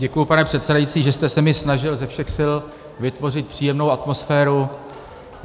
Děkuji, pane předsedající, že jste se mi snažil ze všech sil vytvořit příjemnou atmosféru.